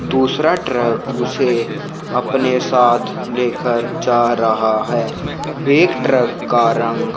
दूसरा ट्रक उसे अपने साथ लेकर जा रहा है एक ट्रक का रंग--